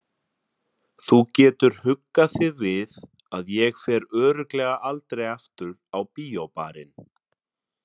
Þú getur huggað þig við að ég fer örugglega aldrei aftur á Bíóbarinn.